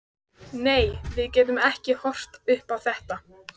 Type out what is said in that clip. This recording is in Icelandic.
Nei, við getum ekki horft upp á þetta.